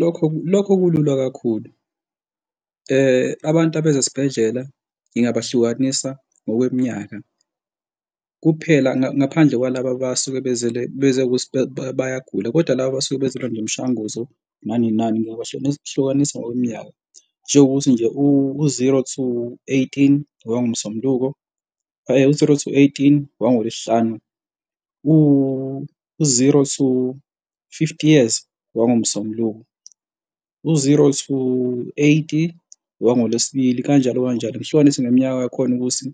Lokho, lokho kulula kakhulu, abantu abeza esibhedlela ngingabahlukanisa ngokweminyaka, kuphela ngaphandle kwalaba abasuke bezele, beze ukuthi bayagula kodwa laba abasuke bezolanda umishwanguzo nane mali ngingabahlukanisa ngokweminyaka. Njengokuthi nje u-zero to eighteen, owangoMsombuluko u-zero to eighteen, owangoLwesihlanu. U-zero to fifty years, owangoMsombuluko. U-zero to eighty owangoLwesibili, kanjalo kanjalo ngihlukanise ngeminyaka yakhona ukuthi